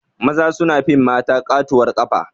Maza sun fi mata ƙatuwar ƙafa